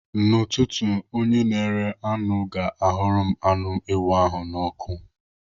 N'ụtụtụ, onye na-ere anụ ga-ahụrụ m anụ ewu ahụ n'ọkụ.